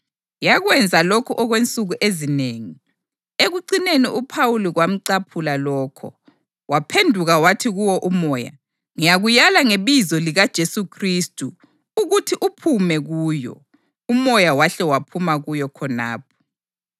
Yakwenza lokhu okwensuku ezinengi. Ekucineni uPhawuli kwamcaphula lokho waphenduka wathi kuwo umoya, “Ngiyakulaya ngebizo likaJesu Khristu ukuthi uphume kuyo!” Umoya wahle waphuma kuyo khonapho.